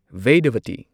Vedavati